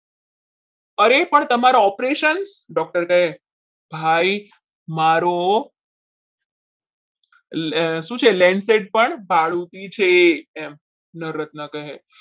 અરે પણ તમારા operations doctor કહે ભાઈ મારો શું છે? lanset પણ ભાડું ભાડું છે એમ નર રત્ન કહે.